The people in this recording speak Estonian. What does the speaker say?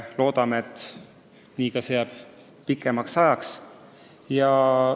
Loodame, et see seis jääb pikemaks ajaks püsima.